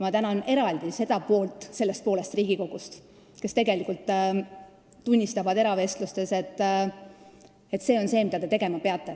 Ma tänan eraldi seda poolt sellest poolest Riigikogust, kes eravestlustes on tunnistanud, et see on lihtsalt see, mida te tegema peate.